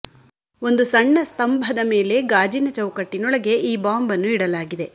ಒಂದು ಸಣ್ಣ ಸ್ತಂಭದ ಮೇಲೆ ಗಾಜಿನ ಚೌಕಟ್ಟಿನೊಳಗೆ ಈ ಬಾಂಬ್ ಅನ್ನು ಇಡಲಾಗಿದೆ